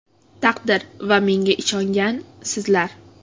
Taqdir va menga ishongan sizlar.